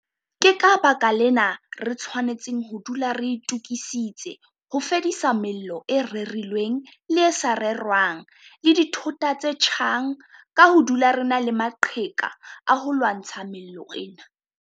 Ke ka baka lena re tshwanetseng ho dula re itokisitse ho fedisa mello e rerilweng le e sa rerwang le dithota tse tjhang ka ho dula re na le maqheka a ho lwantsha mello ena.